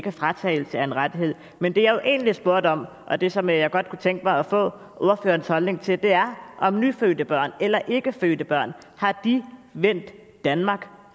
en fratagelse af en rettighed men det jeg egentlig spurgte om og det som jeg godt kunne tænke mig at få ordførerens holdning til er om nyfødte børn eller endnu ikke fødte børn har vendt danmark